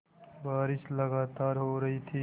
बारिश लगातार हो रही थी